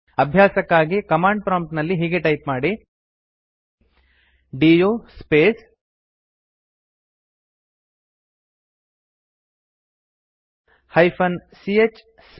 ಅಭ್ಯಾಸಕ್ಕಾಗಿ command prompt ನಲ್ಲಿ ಹೀಗೆ ಟೈಪ್ ಮಾಡಿ ಡಿಯು ಸ್ಪೇಸ್ -ch space